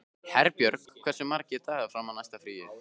Herbjörg, hversu margir dagar fram að næsta fríi?